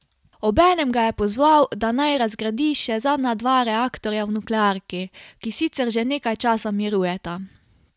Obenem ga je pozval, da naj razgradi še zadnja dva reaktorja v nuklearki, ki sicer že nekaj časa mirujeta.